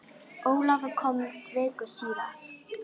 Ólafur kom viku síðar.